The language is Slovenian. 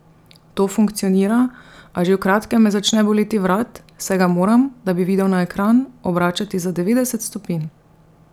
To funkcionira, a že v kratkem me začne boleti vrat, saj ga moram, da bi videl na ekran, obračati za devetdeset stopinj.